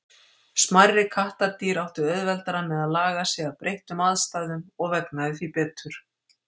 Smærri kattardýr áttu auðveldara með að laga sig að breyttum aðstæðum og vegnaði því betur.